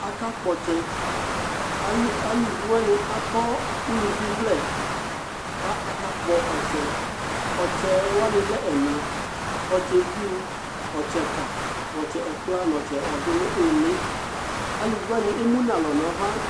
Akakpɔtsɛ: alu aluviwanɩ akɔ uluvivlɛ ka akakpɔ ɔtsɛ Ɔtsɛɛwanɩ lɛ ɛna : ɔtsɛviu , ɔtsɛka , ɛkpla n'ɔtsɛ ɔdʋ nʋ ɩɩlɩ Aluviwanɩ emu n'alɔ nava